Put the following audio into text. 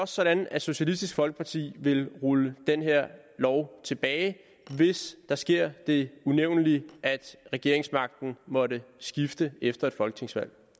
sådan at socialistisk folkeparti vil rulle den her lov tilbage hvis der sker det unævnelige at regeringsmagten måtte skifte efter et folketingsvalg